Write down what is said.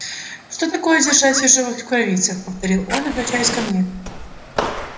что такое держать в ержовых рукавицах повторил он обращаясь ко мне